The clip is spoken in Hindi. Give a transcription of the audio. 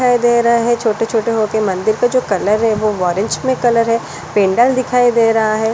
दिखाई दे रहा है। छोटे-छोटे हो के मंदिर का जो कलर है वो ऑरेंज में कलर है पेंडल दिखाई दे रहा है।